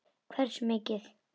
Hversu mikið?